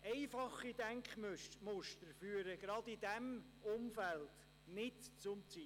Einfache Denkmuster führen gerade in diesem Umfeld nicht zum Ziel.